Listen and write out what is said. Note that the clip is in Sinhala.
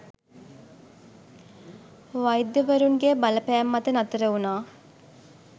වෛද්‍යවරුන්ගේ බලපෑම් මත නතර වුණා.